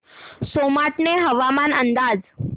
सोमाटणे हवामान अंदाज